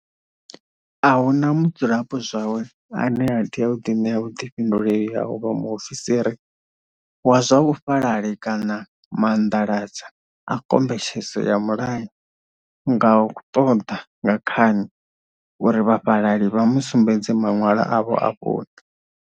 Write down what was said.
A hu na mudzulapo zwawe ane a tea u ḓiṋea vhuḓifhinduleli ha u vha muofiisiri wa zwa vhufhalali kana maanḓalanga a khombetshedzo ya mulayo nga u ṱoḓa nga khani uri vhafhalali vha mu sumbedze maṅwalo avho a vhuṋe.